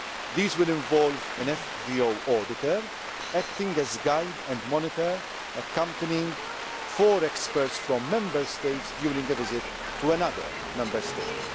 These will involve an FVO auditor, acting as guide and monitor, accompanying four experts from Member States during a visit to another Member State.